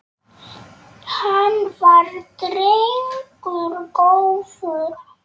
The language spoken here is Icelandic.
Hann var drengur góður.